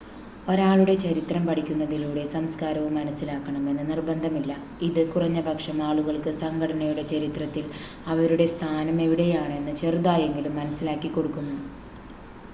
ഒരാളുടെ ചരിത്രം പഠിക്കുന്നതിലൂടെ സംസ്‌കാരവും മനസ്സിലാക്കണം എന്ന് നിർബന്ധമില്ല ഇത് കുറഞ്ഞപക്ഷം ആളുകൾക്ക് സംഘടനയുടെ ചരിത്രത്തിൽ അവരുടെ സ്ഥാനം എവിടെയാണെന്ന് ചെറുതായെങ്കിലും മനസ്സിലാക്കിക്കൊടുക്കുന്നു